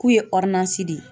K'u ye di.